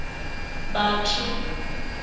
batho